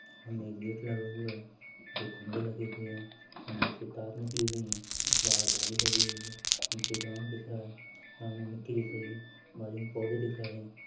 सामने एक गेट लगा हुआ है दो खंभे लगे हुए है खंभे से तार निकली हुई है बाहर जाली लगी हुई है नीचे ग्राउंड दिख रहा है ग्राउंड मे मिट्टी दिख रही है बाजू मे पौधे दिख रहें हैं।